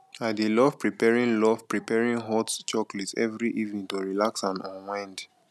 i dey love preparing love preparing hot chocolate every evening to relax and unwind